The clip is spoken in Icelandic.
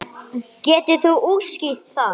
Geturðu útskýrt það?